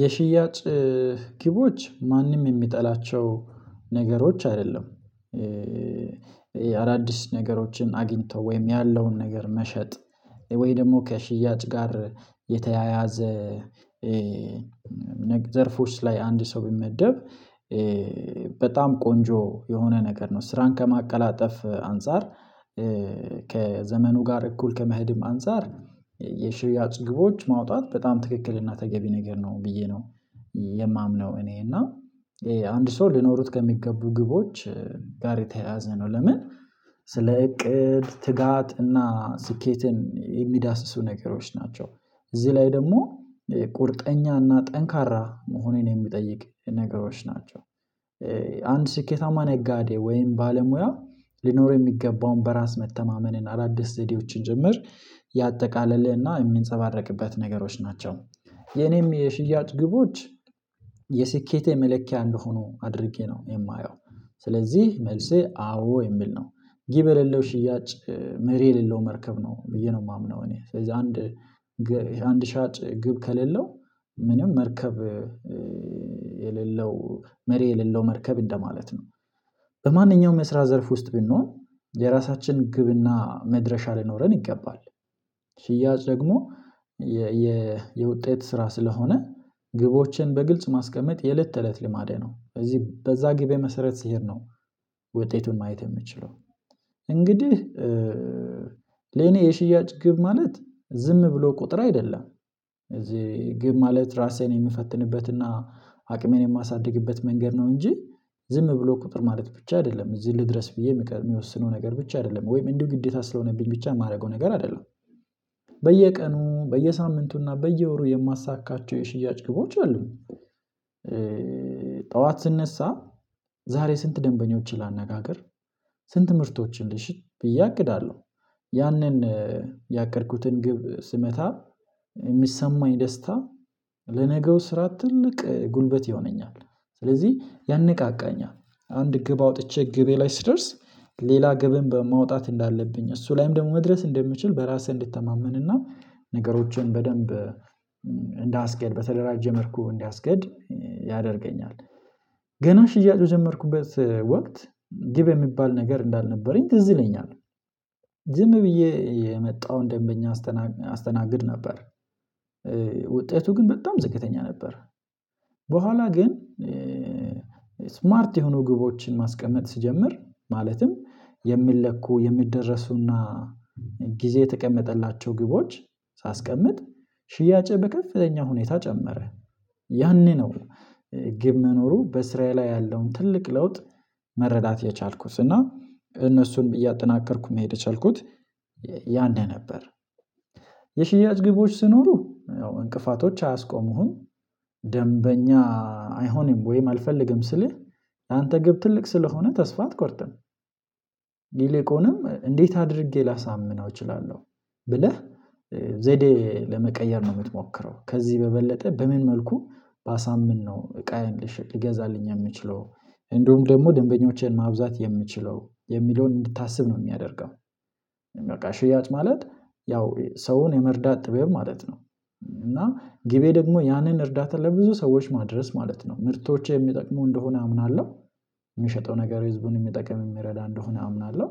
የሽያጭ ግቦች ማንም የሚጠላቸው ነገሮች አይደለም። አዳዲስ ነገሮችን አግኝተው ወይም ያለውን ነገር መሸጥ ወይ ደግሞ ከሽያጭ ጋር የተያያዘ ዘርፎች ላይ አንድ ሰው ቢመደብ በጣም ቆንጆ የሆነ ነገር ነው። ስራን ከማቀላጠፍ አንፃር ከዘመኑ ጋር እኩል ከመሄድም አንፃር የሽያጭ ግቦች ማውጣት በጣም ትክክልና ተገቢ ነገር ነው ብዬ ነው። የማምነው እኔ እና ይሄ አንድ ሰው ልኖሩት ከሚገቡ ግቦች ጋር የተያያዘ ነው። ለምን ስለ እቅድ ትጋት እና ስኬትን የሚዳስሱ ነገሮች ናቸው። እዚህ ላይ ደግሞ የቁርጠኛና ጠንካራ መሆኔን የሚጠይቅ ነገሮች ናቸው። አንድ ስኬታማ ነጋዴ ወይም ባለሙያ ሊኖር የሚገባውን በራስ መተማመንን አዳዲስ ዘዴዎችን ጭምር ያጠቃለለና የምንጸባረቅበት ነገሮች ናቸው። የእኔም የሽያጭ ግቦች የስኬቴ መለኪያ እንደሆኑ አድርጌ ነው የማየው። ስለዚህ መልሴ አዎ የሚል ነው። ጊብ የሌለው ሽያጭ መሪ የሌለው መርከብ ነው ብዬ ነው የማምነው። እኔ ስለዚህ አንድ አንድ ሻጭ ግብ ከሌለው ምንም መርከብ የሌለው መሪ የሌለው መርከብ እንደማለት ነው። በማንኛውም የስራት ዘርፍ ውስጥ ብንሆን የራሳችን ግብና መድረሻ ልኖረን ይገባል። ሽያጭ ደግሞ የውጤት ስራ ስለሆነ ግቦችን በግልጽ ማስቀመጥ የእለት ተእለት ልማዴ ነው እዚህ በዚያ ግብ መሰረት ሲሄድ ነው። ውጤቱን ማየት የምችለው እንግዲህ ለእኔ የሽያጭ ግብ ማለት ዝም ብሎ ቁጥር አይደለም። እዚህ ግብ ማለት ራሴን የምፈትንበትና አቅሜን የማሳድግበት መንገድ ነው እንጂ ዝም ብሎ ቁጥር ማለት ብቻ አይደለም እዚህን ልድረስ ብዬ የምቀ የምወሰነው ነገር ብቻ አይደለም ወይም እንዲሁ ግዴታ ስለሆነብኝ ብቻ የማደርገው ነገር አይደለም። በየቀኑ በየሳምንቱና በየወሩ የማሳካቸው የሽያጭ ግቦች አሉኝ። ጠዋት ስነሳ ዛሬ ስንት ደንበኞችን ላናጋግር ስንት ምርቶችን ልሽጥ ብዬ አቅዳለሁ። ያንን ያቀድኩትን ግብ ስመታ የሚሰማኝ ደስታ ለነገው ስራ ትልቅ ጉልበት ይሆነኛል። ስለዚህ ያነቃቃኛል አንድ ግብ አውጥቼ ግቤ ላይ ስደርስ ሌላ ግብን በማውጣት እንዳለብኝ እሱ ላይም ደግሞ መድረስ እንደምችል በራሴ እንድተማመን እና ነገሮችን በደንብ እንዳስኬድ በተደራጀ መልኩ እንዳስኬድ ያደርገኛል። ገና ሽያጭ የጀመርኩበት ወቅት ግብ የሚባል ነገር እንዳልነበረኝ ትዝ ይለኛል። ዝም ብዬ የመጣውን ደንበኛ አስተናግድ ነበር ውጤቱ ግን በጣም ዝቅተኛ ነበር። በኋላ ግን ስማርት የሆኑ ግቦችን ማስቀመጥ ስጀምር ማለትም የምለኩ የምደርሱና ጊዜ የተቀመጠላቸው ግቦች ሳስቀምጥ ሽያጬ በከፍተኛ ሁኔታ ጨመረ። ያኔ ነው ግብ መኖሩ በስራዬ ላይ ያለውን ትልቅ ለውጥ መረዳት የቻልኩት እና እነሱን እያጠናከርኩ መሄድ የቻልኩት ያኔ ነበር። የሽያጭ ግቦች ስኖሩ እንቅፋቶች አያስቆሙም። ደንበኛ አይሆንም ወይም አልፈልግም ስልህ አንተ ግብ ትልቅ ስለሆነ ተስፋ አትቆርጥም። ይልቁንም እንዴት አድርጌ ላሳምነው እችላለሁ? ብለህ ዘዴ ለመቀየር ነው የምትሞክረው ከዚህ በበለጠ በምን መልኩ ባሳምን ነው እቃዬ ልሽጥ ሊገዛልኝ የምችለው እንደውም ደግሞ ደንበኞቼን ማብዛት የምችለው የሚለውን እንድታስብ ነው የሚያደርገው። በቃ ሽያጭ ማለት ያው ሰውን የመርዳት ጥበብ ማለት ነው። እና ግቤ ደግሞ ያንን እርዳታ ለብዙ ሰዎች ማድረስ ማለት ነው ምርቶቼ የሚጠቅመው እንደሆነ አምናለሁ የሚሸጠው ነገር ህዝቡን የሚጠቅም የሚረዳ እንደሆነ አምናለሁ።